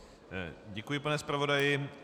Děkuji, pane zpravodaji.